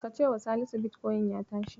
Ka cewa Salisu bitkoyin ya tashi.